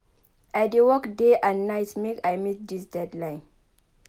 I dey work day and night make I meet dis deadline.